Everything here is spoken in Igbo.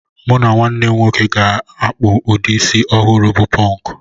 Mụ na ụmụnne m gaje ịkpụ ụdị isi ọhụrụ bụ pọnk